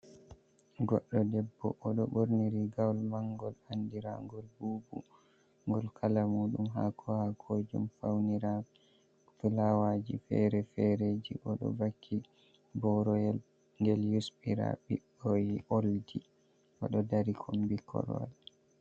Goɗɗo debbo odo ɓorni rigawol mangol andiragol bubu, Gol kala muɗum ha ko ha kojum faunira flawaji fere- fereji, Odo vaki boro yel gel yusɓira bikkoi oldi oɗo dari kombi korwal.